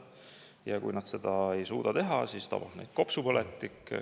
Ja kui nad seda ei suuda teha, siis tabab neid kopsupõletik.